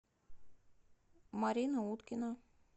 марина уткина